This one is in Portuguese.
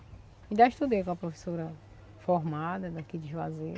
Ainda estudei com a professora formada daqui de Juazeiro.